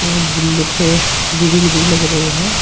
और जिनपे ग्रिल भी लग रहे हैं।